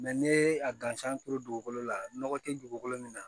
ne ye a gansan turu dugukolo la nɔgɔ tɛ dugukolo min na